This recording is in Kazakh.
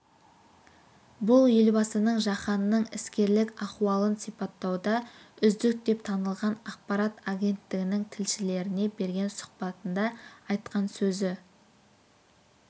бұл елбасының жаһанның іскерлік ахуалын сипаттауда үздік деп танылған ақпарат агенттігінің тілшілеріне берген сұхбатында айтқан сөзі